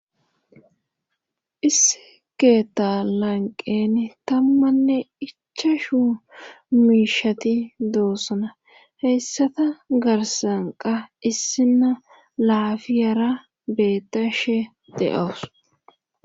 issi keetta lanqen tammanne ichchashshu miishshati doossona heyssata garssanqa issinna laafiyara beettashe de'awus